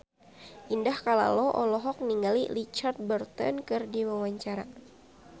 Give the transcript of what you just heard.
Indah Kalalo olohok ningali Richard Burton keur diwawancara